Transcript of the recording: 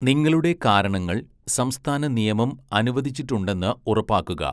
നിങ്ങളുടെ കാരണങ്ങൾ സംസ്ഥാന നിയമം അനുവദിച്ചിട്ടുണ്ടെന്ന് ഉറപ്പാക്കുക.